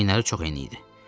Çiyinləri çox eni idi.